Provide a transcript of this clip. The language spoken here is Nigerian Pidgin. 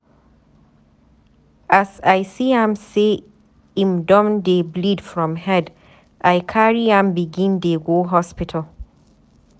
As I see am sey im don dey bleed from head, I carry am begin dey go hospital.